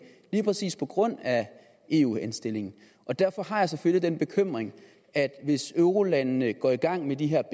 lige præcis på grund af eu henstillingen og derfor har jeg selvfølgelig den bekymring at hvis eurolandene går i gang med de her